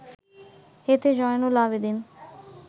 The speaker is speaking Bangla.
এতে জয়নুল আবেদিন